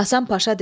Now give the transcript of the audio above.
Həsən Paşa dedi.